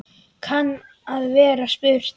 kann að vera spurt.